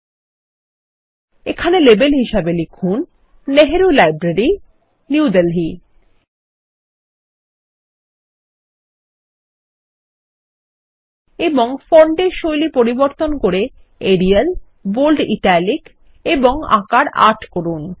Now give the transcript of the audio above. ল্টপাউসেগ্ট এখানে লেবেল হিসাবে লিখুন নেহরু লাইব্রেরি নিউ দেলহি এবং ফন্টের শৈলী পরিবর্তন করেএরিয়াল বোল্ড ইটালিক এবংআকার ৮ করুন